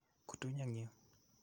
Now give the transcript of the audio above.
Kutuny eng' yu.